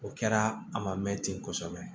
O kɛra a ma mɛn ten kosɛbɛ